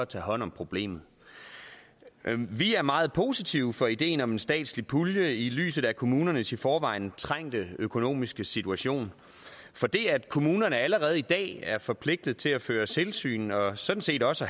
tage hånd om problemet vi er meget positive over for ideen om en statslig pulje i lyset af kommunernes i forvejen trængte økonomiske situation for det at kommunerne allerede i dag er forpligtet til at føre tilsyn og sådan set også